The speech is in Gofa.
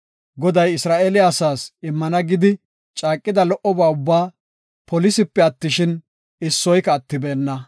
Goday Isra7eele asaas immana gidi caaqida lo77oba ubbaa polisipe attishin, issoyka attibeenna.